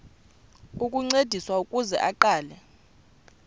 ukuncediswa ukuze aqale